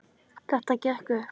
Þetta gekk upp.